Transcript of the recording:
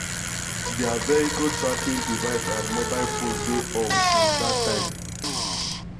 white vw polo wen dem miss na wetin police statement tok.